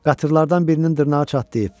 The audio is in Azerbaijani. Qatırlardan birinin dırnağı çatlayıb.